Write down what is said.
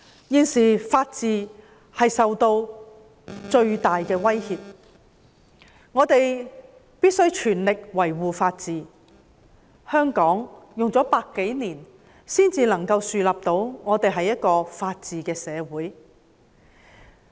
現時法治受到最大的威脅，我們必須全力維護法治，香港花了100多年才能夠建立到一個法治的社會。